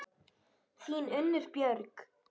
Þín, Unnur Björg.